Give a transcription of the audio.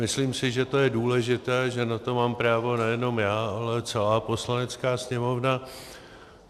Myslím si, že je to důležité, že na to mám právo nejenom já, ale celá Poslanecká sněmovna.